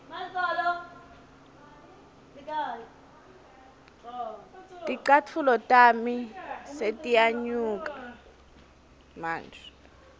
ticatfulo tami setiyanuka manje